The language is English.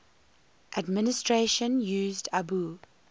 administration used abu